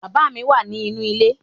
Bàbá mi wà nì inú ilé